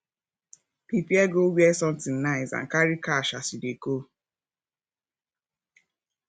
prepare go where something nice and carry cash as you de go